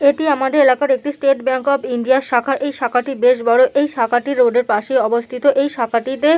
এটি আমাদের এলাকার একটি স্টেট ব্যাঙ্ক অফ ইন্ডিয়ার শাখা। এই শাখাটি বেশ বড় এই শাখাটি রোড -এর পাশে অবস্থিত। এই শাখাটি--